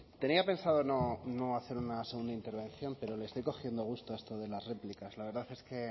tenía pensado no hacer una segunda intervención pero le estoy cogiendo gusto a esto de las réplicas la verdad es que